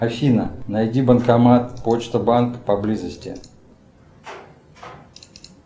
афина найди банкомат почта банк поблизости